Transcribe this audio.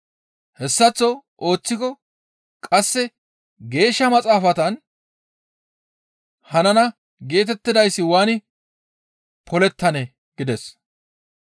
Hessaththo ooththiko qasse Geeshsha Maxaafatan hanana geetettidayssi waani polettanee?» gides.